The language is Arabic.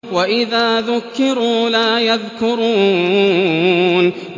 وَإِذَا ذُكِّرُوا لَا يَذْكُرُونَ